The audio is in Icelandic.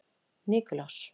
Nikulás